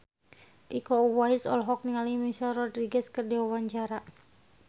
Iko Uwais olohok ningali Michelle Rodriguez keur diwawancara